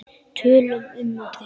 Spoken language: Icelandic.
Tölum um okkur.